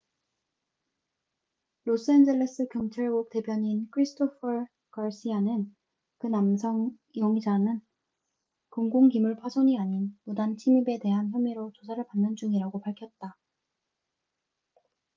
로스엔젤레스 경찰국 대변인 christopher garcia는 그 남성 용의자는 공공 기물 파손이 아닌 무단 침입에 대한 혐의로 조사를 받는 중이라고 밝혔다